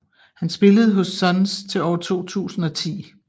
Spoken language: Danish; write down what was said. Han spillede hos Suns til år 2010